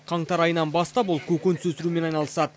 қаңтар айынан бастап ол көкөніс өсірумен айналысады